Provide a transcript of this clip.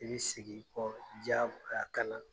I be segin kɔ diyagoya kana